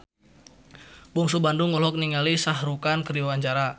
Bungsu Bandung olohok ningali Shah Rukh Khan keur diwawancara